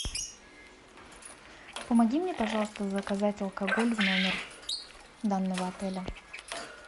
помоги мне пожалуйста заказать алкоголь в номер данного отеля